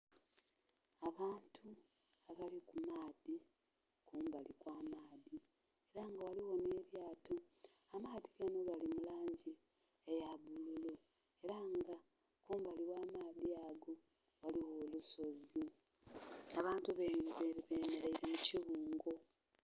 Abantu abali ku maadhi, ku mbali okw'amaadhi. Ela nga ghaligho nh'elyato. Amaadhi ganho gali mu langi eya bbululu ela nga ku mbali w'amaadhi ago ghaligho olusozi. Abantu bemeleile mu kibungo.